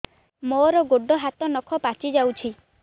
ମୋର ଗୋଡ଼ ହାତ ନଖ ପାଚି ଯାଉଛି